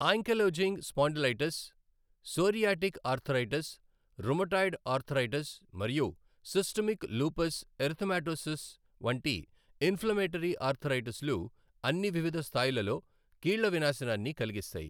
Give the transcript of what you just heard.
Ankylosing spondylitis, psoriatic arthritis, rheumatoid arthritis మరియు systemic lupus erythematosus వంటి inflammatory ఆర్థరైటిస్లు అన్నీ వివిధ స్థాయిలలో కీళ్ళ వినాశనాన్ని కలిగిస్తాయి.